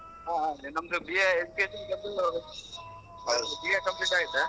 ಹಾ ನಮ್ದು BA ಬಂದು BA complete ಆಯ್ತಾ .